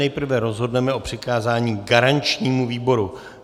Nejprve rozhodneme o přikázání garančnímu výboru.